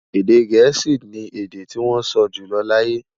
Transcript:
Èdè gèésì ní èdè tí wón sọ jùlọ láyé